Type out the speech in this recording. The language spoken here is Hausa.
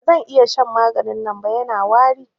Ba zan iya shan maganin nan ba, Yana wari.